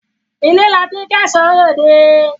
Ilé la ti ń kẹ́ṣọ̀ọ́ ròde.